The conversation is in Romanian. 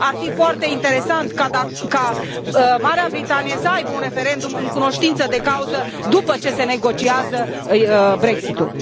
Ar fi foarte interesant ca Marea Britanie să aibă un referendum în cunoștință de cauză după ce se negociază în Brexitul.